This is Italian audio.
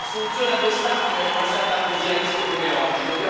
La soluzione a due Stati non è mai stata così a rischio come oggi.